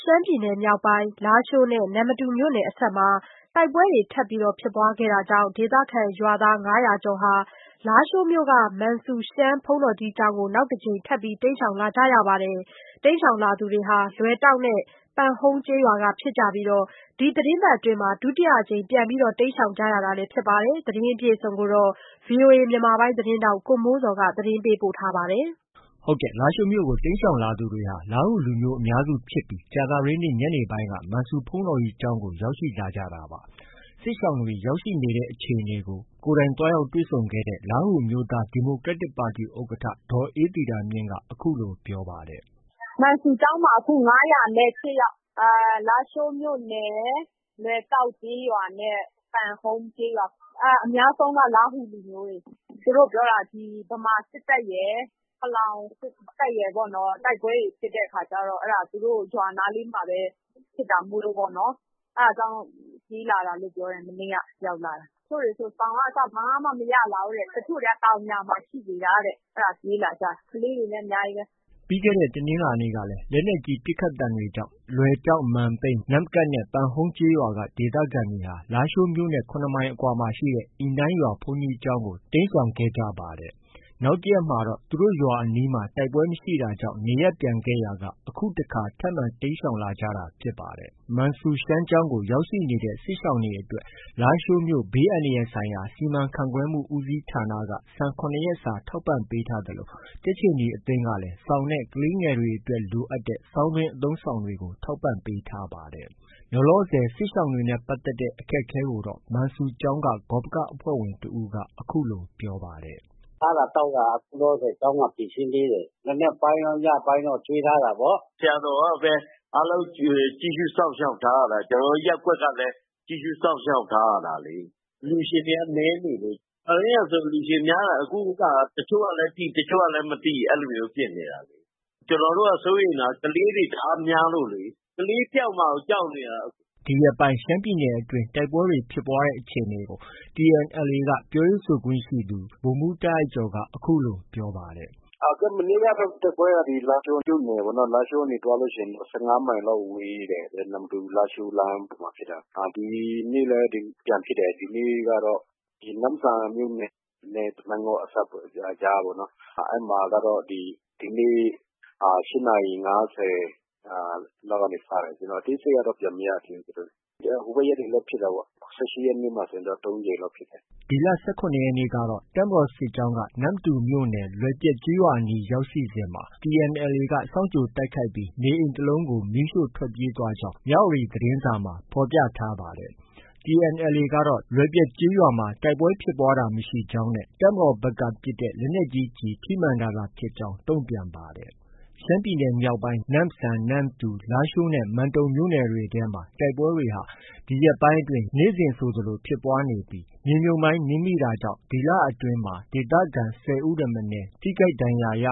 ရှမ်းပြည်နယ်မြောက်ပိုင်း လားရှိုးနဲ့ နမ္မတူမြို့နယ်အစပ်မှာ တိုက်ပွဲတွေထပ်မံ ဖြစ်ပွားခဲ့တာကြောင့် ဒေသခံရွာသား ၅၀၀ကျော်ဟာ လားရှိုးမြို့ မန်ဆူရှမ်းဘုန်းတော်ကြီးကျောင်းကို နောက်တစ်ကြိမ် တိမ်းရှောင်လာရပါတယ်။ တိမ်းရှောင်လာသူတွေဟာ လွယ်တောက်နဲ့ ပန်ဟုန်းရွာကဖြစ်ပြီး ဒီတစ်ပတ်အတွင်း ဒုတိယအကြိမ် တိမ်းရှောင်ကြရတာလည်း ဖြစ်ပါတယ်။ ဒီသတင်းကို ဗွီအိုအေမြန်မာပိုင်းရဲ့ သတင်းထောက် ကိုမိုးဇော်က တင်ပြထားပါတယ်။ လားရှိုးမြို့ကို တိမ်းရှောင်လာသူတွေဟာ လားဟူလူမျိုး အများစုဖြစ်ပြီး ကြာသပတေးနေ့ညနေပိုင်းက မန်ဆူရှမ်းဘုန်းတော်ကြီးကျောင်းကို ရောက်ရှိလာကြတာပါ။ စစ်ရှောင်တွေ ရောက်ရှိနေတဲ့အခြေအနေကို သူတို့ကို သွားရောက်တွေ့ဆုံခဲ့တဲ့ လားဟူအမျိုးသား ဒီမိုကရက်တစ်ပါတီ ဥက္ကဌ ဒေါ်အေးသီတာမြင့်က အခုလို ပြောပါတယ်။ “ မန်ဆူကျောင်းမှာ အခု ၅၀၈ ယောက်။ လားရှိုးမြို့နယ် လွယ်တောက်ကျေးရွာနဲ့ ပန်ဟုန်းကျေးရွာ။ အများဆုံးက လားဟူလူမျိုးတွေ။ သူတို့ပြောတာ ဒီဗမာစစ်တပ်ရယ်၊ ပလောင်စစ်တပ်ရယ်ပေါ့နော် တိုက်ပွဲတွေဖြစ်တဲ့အခါကျတော့ အဲဒါ သူတို့ ရွာနားလေးမှာပဲ ဖြစ်တာမို့လို့၊ အဲဒါကြောင့်မို့ ပြေးလာတာလို့ ပြောတယ်။ မနေ့က ရောက်လာတယ်။ တချို့တွေဆို စောင်ကအစ ဘာမှ မရလာဘူးတဲ့။ တချို့တွေက တောင်ယာမှာ ရှိနေတာတဲ့။ အဲဒါ ပြေးလာကြတာ။ ကလေးတွေလည်း အများကြီးပဲ။” ပြီးခဲ့တဲ့ တနင်္လာနေ့ကလည်း လက်နက်ကြီးပစ်ခတ်သံတွေကြောင့် လွယ်တောက်၊ မန်ပြိန်း၊ နမ့်ကပ်နဲ့ ပန်ဟုန်းကျေးရွာက ဒေသခံတွေဟာ လားရှိုးမြို့နဲ့ ၇မိုင်အကွာမှာရှိတဲ့ အီနိုင်းရွာ ဘုန်းကြီးကျောင်းကို တိမ်းရှောင်ခဲ့ကြပါတယ်။ နောက်တစ်ရက်မှာတော့ သူတို့ရွာအနီးမှာ တိုက်ပွဲမရှိတာကြောင့် နေရပ်ပြန်ခဲ့ကြရာက အခုတစ်ခါ ထပ်မံ တိမ်းရှောင်လာကြတာဖြစ်ပါတယ်။ မန်ဆူရှမ်းကျောင်းကို ရောက်ရှိနေတဲ့ စစ်ရှောင်တွေအတွက် လားရှိုးမြို့ ဘေးအန္တရာယ်ဆိုင်ရာ စီမံခန့်ခွဲမှု ဦးစီးဌာနက ဆန် ၇ရက်စာ ထောက်ပံ့ကူညီပေးထားသလို ကြက်ခြေနီအသင်းကလည်း စောင်နဲ့ ကလေးငယ်တွေအတွက် လိုအပ်တဲ့ ဆောင်းတွင်း အသုံးအဆောင်တွေကို ထောက်ပံ့ပေးထားပါတယ်။ လောလောဆည် စစ်ရှောင်တွေနဲ့ပတ်သက်တဲ့ အခက်အခဲကိုတော့ မန်ဆူရှမ်းကျောင်းက ဂေါပက အဖွဲ့ဝင်တစ်ဦးက အခုလို ပြောပါတယ်။ “ စားတာသောက်တာ အခုလောလောဆည် ကျောင်းက ဖြေရှင်းပေးတယ်။ မနက်ပိုင်းရော၊ ညပိုင်းရော ကျွေးထားတာပေါ့။ ဆရာတော်ကပဲ အားလုံးကြည့်ရှုစောင့်ရှောက်ထားရတာ။ ကျနော်တို့ ရပ်ကွက်ကလည်း ကြည့်ရှုစောင့်ရှောက်ထားရတာလေ။ အလှူရှင်တွေက နည်းနေလို့။ ခါတိုင်းကဆို အလှူရှင်များတာ။ အခုက တချို့ကလည်း သိ၊ တချို့ကလည်း မသိ အဲလိုမျိုးဖြစ်နေတာ။ ကျနော်တို့က စိုးရိမ်တာက ကလေးတွေ တအားများလို့လေ။ ကလေးပျောက်မှာကို ကြောက်နေတာ။” ဒီရက်ပိုင်း ရှမ်းပြည်နယ်အတွင်း တိုက်ပွဲဖြစ်ပွားတဲ့အခြေအနေကို TNLA က ပြောရေးဆိုခွင့်ရှိသူ ဗိုလ်မှူး တာအိုက်ကျော်က အခုလို ပြောပါတယ်။ “ မနေ့ကတော့ ဒီတိုက်ပွဲကတော့ လားရှိုးမြို့နယ်ပေါ့။ လားရှိုးကနေ သွားရင် ၁၅မိုင်လောက် ဝေးတယ်။ နမ္မတူ-လားရှိုးလမ်းပေါ်မှာ ဖြစ်တာ။ ဒီနေ့လည်း ပြန်ဖြစ်တယ်။ ဒီနေ့ကတော့ နမ့်ဆန်မြို့နယ်နဲ့ မိုင်းငေါ့အစပ်ပေါ့။ ကြားပေါ့။ အဲဒီမှာကတော့ ဒီနေ့ ၈နာရီ ၅၀လောက်ကနေ စတယ်။ အသေးစိတ်ကတော့ ကျနော် မရသေးဘူး။ ဟိုဘက်ရက်တွေလည်း ဖြစ်တယ်။ ၁၈ရက်နေ့ကဆို ၃ကြိမ်လောက် ဖြစ်တာပေါ့။” ဒီလ ၁၇ရက်နေ့ကတော့ တပ်မတော် စစ်ကြောင်းက နမ္မတူမြို့နယ် လွယ်ပျက်ရွာအနီးရောက်စဉ် TNLA က စောင့်ကြိုတိုက်ခိုက်ခဲ့ပြီး နေအိမ်တစ်လုံးကို မီးရှို့ထွက်ပြေးသွားကြောင်း မြဝတီသတင်းစာမှာ ဖော်ပြထား ပါတယ်။ TNLA ကတော့ လွယ်ပျက်ရွာအနီး တိုက်ပွဲဖြစ်ပွားတာမရှိကြောင်း နဲ့ တပ်မတော်ဘက်က ပစ်တဲ့ လက်နက်ကြီး ထိမှန်တာသာဖြစ်ကြောင်း တံ့ုပြန်ပါတယ်။ ရှမ်းပြည်နယ်မြောက်ပိုင်း နမ့်ဆန်၊ နမ္မတူ၊ လားရှိုးနဲ့ မန်တုံမြို့နယ်တွေထဲမှာ တိုက်ပွဲတွေဟာ နေ့စဉ်ဆိုသလို ဖြစ်ပွားနေသလို မြေမြုပ်မိုင်းနင်းမိတာကြောင့် ဒီလအတွင်း ဒေသခံ ၁၀ဦးထက်မနည်း ထိခိုက်ဒဏ်ရာ ရ